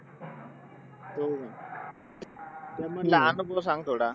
हम्म त्यामधला आता तू सांग थोडा